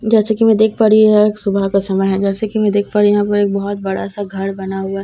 जैसा की मैं देख पा रही हूँ यह एक सुबह का समय है जैसे की मैं देख पा रही हूँ यहाँ पर एक बहुत बड़ा सा घर बना हुआ है जिसका रंग --